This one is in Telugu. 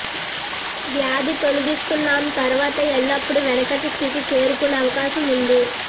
వ్యాధి తొలగిస్తున్నాము తరువాత ఎల్లప్పుడూ వెనకటి స్థితి చేరుకునే అవకాశం ఉంది